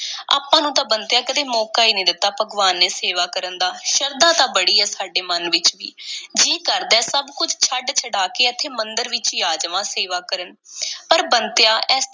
ਆਪਾਂ ਨੂੰ ਤਾਂ, ਬੰਤਿਆ, ਕਦੀ ਮੌਕਾ ਈ ਨਹੀਂ ਦਿੱਤਾ ਭਗਵਾਨ ਨੇ, ਸੇਵਾ ਕਰਨ ਦਾ। ਸ਼ਰਧਾ ਤਾਂ ਬੜੀ ਐ, ਸਾਡੇ ਮਨ ਵਿੱਚ ਵੀ। ਜੀਅ ਕਰਦੈ, ਸਭ ਕੁਝ ਛੱਡ-ਛਡਾ ਕੇ ਇੱਥੇ ਮੰਦਿਰ ਵਿੱਚ ਈ ਆ ਜਾਵਾਂ, ਸੇਵਾ ਕਰਨ। ਪਰ, ਬੰਤਿਆ, ਇਸ